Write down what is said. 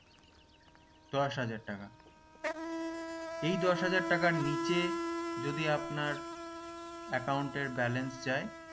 দশ হাজার টাকা এই দশ হাজার টাকার নিচে যদি আপনার account এ balance যায়